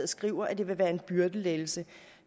skriver at det vil være en byrdelettelse